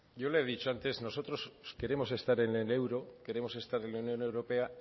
yo le he dicho antes que nosotros queremos estar en el euro queremos estar en la unión europea